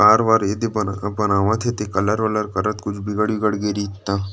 car -वार एदे बनावत हे ते कलर -ओलर करत हे कुछ बिगड़-उगड़ गइ रहित त --